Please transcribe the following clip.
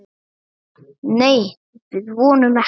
Nei, við vonum ekki.